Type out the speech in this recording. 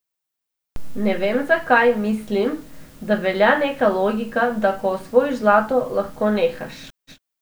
Ne vem, zakaj, mislim, da velja neka logika, da ko osvojiš zlato, lahko nehaš.